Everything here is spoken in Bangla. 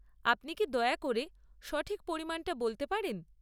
আপনি কি দয়া করে সঠিক পরিমাণটা বলতে পারেন?